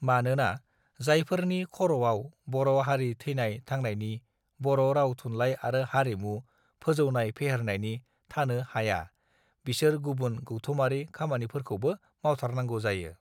मानोना जायफोरनि खराव बर हारि थैनाय थांनायनि बर राव थुनलाइ आरो हारिमु फौजौनाय फेहेरनायनि थानो हाया बिसोर गुबुन गौथुमारि खामानिफोरखौबो मावथारनांगौ जायो